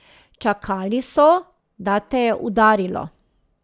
Čakali so, da te je udarilo.